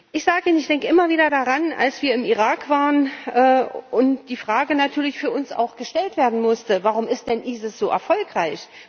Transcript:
Ich sage Ihnen Ich denke immer wieder daran, als wir im Irak waren und die Frage natürlich für uns auch gestellt werden musste Warum ist denn der IS so erfolgreich?